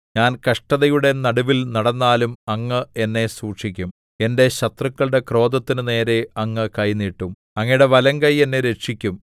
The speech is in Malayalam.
ഞാൻ കഷ്ടതയുടെ നടുവിൽ നടന്നാലും അങ്ങ് എന്നെ സൂക്ഷിക്കും എന്റെ ശത്രുക്കളുടെ ക്രോധത്തിനു നേരെ അങ്ങ് കൈ നീട്ടും അങ്ങയുടെ വലങ്കൈ എന്നെ രക്ഷിക്കും